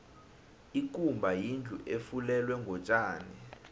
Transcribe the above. ikumba yindlu efulelwe ngotjani